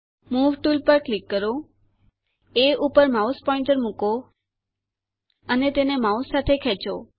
move tool પર click કરો એ પર માઉસ પોઇન્ટર મૂકો અને તેને માઉસ સાથે ખેંચો